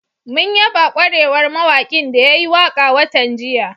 Mun yaba ƙwarewar mawaƙin da ya yi waƙa watan jiya